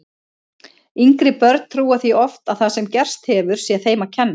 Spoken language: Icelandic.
Yngri börn trúa því oft að það sem gerst hefur sé þeim að kenna.